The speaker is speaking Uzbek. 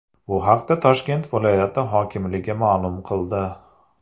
Bu haqda Toshkent viloyati hokimligi ma’lum qildi .